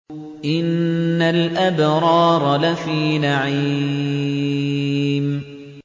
إِنَّ الْأَبْرَارَ لَفِي نَعِيمٍ